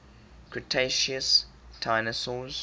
cretaceous dinosaurs